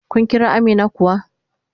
Kin Kira Amina kuwa?